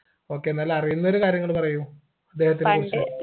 okay എന്നാലും അറിയുന്നൊരു കാര്യങ്ങള് പറയൂ